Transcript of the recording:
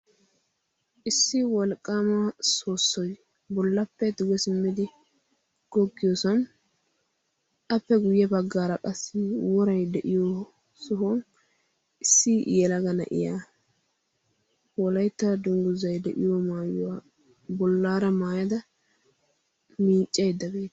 Issi wolqqama soossoy bollappe duge simmidi googissan, appe guyyee baggaara qassi woray de'iyo sohuwan issi yelaga na'iya Wolaytta dungguzay de'iyo maayyuwa bollaara maayada miccaydda beettawusu.